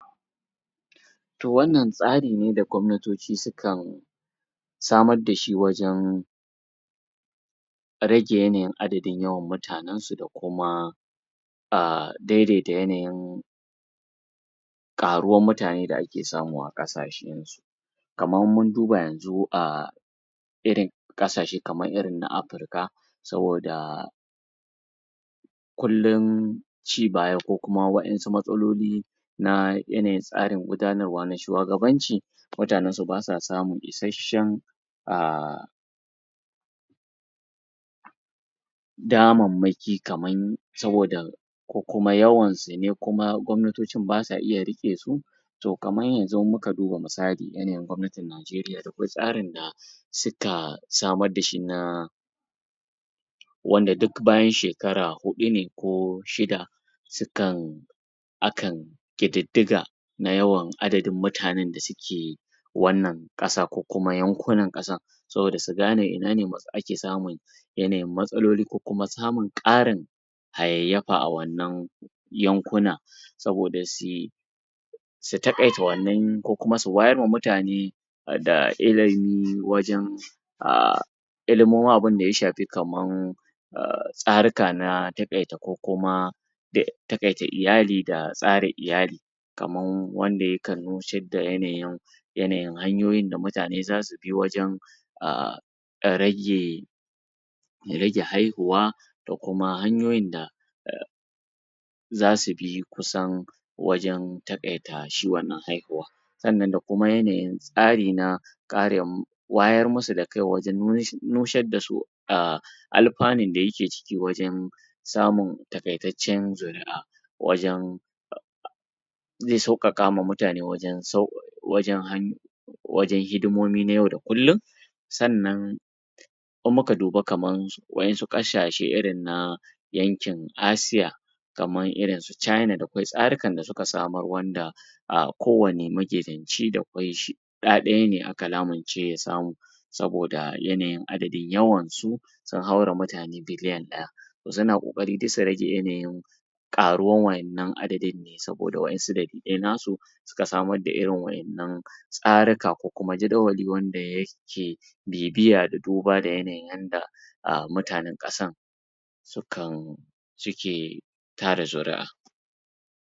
To wannan tsari ne da gwamnatoci sukan samar da shi wajen rage yanayin adadin yawan mutanen su da kuma ah, daidaita yanayin ƙaruwan mutane da ake samu a ƙasashe kaman in mun duba yanzu ah, irin ƙasashe kaman irin na Afirika saboda kullun ci baya ko kuma waƴansu matsaloli na yanayin tsarin gudanarwa na shuwagabanci mutanen su basa samun isashen ah, damanmaki kaman saboda ko kuma yawan sune kuma gwamnatocin basa iya riƙe su to kaman yanzun muka duba misali irin gwamnatin Najeriya akwai tsari na suka samar da shi na wanda duk bayan shekara huɗu ne ko shida su kan akan ƙididdiga na yawan adadin mutanen da suke wannan ƙasan ko kuma yankunan ƙasan saboda su gane ina ne ake samun yanayin matsaloli ko kuma samun ƙarin hayayyafa a wannan yankunan saboda sui su taƙaita wannan ko kuma su wayar ma mutane da ilimi wajen ah, ilimomi kaman abin da ya shafi kaman ah, tsarika na taƙaita ko kuma dai taƙaita iyali da tsara iyali kaman wanda yakan nusar da yanayin yanayin hanyoyin da mutane zasu bi wajen ah, rage rage haihuwa da kuma hanyoyin da zasu bi kusan wajen taƙaita shi wannan haihuwa sannan da kuma yanayin na tsari na kare mu wayar musu da kai waje nushar da su ah, alfanun da yake ciki wajen samun taƙaitaccen zuri'a wajen ze sauƙaƙa ma mutane wajen wajen hidimomi na yau da kullun sannan in muka duba kaman waƴansu ƙasashe irin na yankin Asiya kaman irin su China da kwai tsarukan da suka samar wanda ah, kowani maƙetaci da kwai shi kuɗaɗe ne aka lamunce ya samu saboda yanayin adadin yawan su, sun haura mutane biliyan ɗaya suna ƙoƙari dai su rage yanayin ƙaruwan waƴannan adadin, saboda waƴansu dalilai na su suka samar da irin waƴannan tsarika ko kuma jadawali wanda yake bibiya da duba da yanayin yanda ah, mutanen ƙasan su kan cike tara zuri'a.